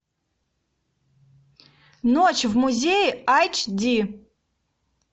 ночь в музее айч ди